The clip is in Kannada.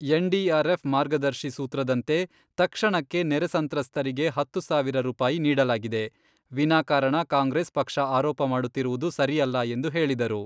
ಎನ್ಡಿಆರ್ಆಫ್ ಮಾರ್ಗದರ್ಶಿ ಸೂತ್ರದಂತೆ ತಕ್ಷಣಕ್ಕೆ ನೆರೆ ಸಂತ್ರಸ್ತರಿಗೆ ಹತ್ತು ಸಾವಿರ ರೂಪಾಯಿ ನೀಡಲಾಗಿದೆ, ವಿನಾ ಕಾರಣ ಕಾಂಗ್ರೆಸ್ ಪಕ್ಷ ಆರೋಪ ಮಾಡುತ್ತಿರುವುದು ಸರಿಯಲ್ಲ ಎಂದು ಹೇಳಿದರು.